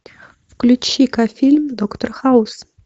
включи ка фильм доктор хаус